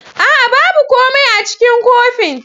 A'a! babu komai a cikin kofin.